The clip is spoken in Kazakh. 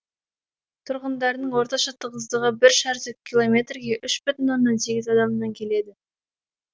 тұрғындарының орташа тығыздығы бір шаршы километрге үш бүтін оннан сегіз адамнан келеді